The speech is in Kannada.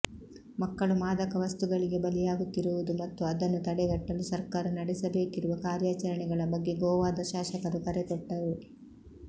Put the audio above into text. ಮಕ್ಕಳು ಮಾದಕ ವಸ್ತುಗಳಿಗೆ ಬಲಿಯಾಗುತ್ತಿರುವುದು ಮತ್ತು ಅದನ್ನು ತಡೆಗಟ್ಟಲು ಸರ್ಕಾರ ನಡೆಸಬೇಕಿರುವ ಕಾರ್ಯಾಚರಣೆಗಳ ಬಗ್ಗೆ ಗೋವಾದ ಶಾಸಕರು ಕರೆ ಕೊಟ್ಟರು